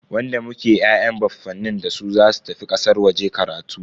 Wanda muke ya'yan baffanin dasu zasu tafi kasar waje karatu.